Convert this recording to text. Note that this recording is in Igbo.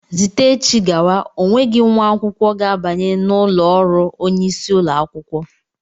Zite echi gawa ọ nweghị nwa akwụkwọ ga-abanye n'ụlọ ọrụ onyeisi ụlọ akwụkwọ!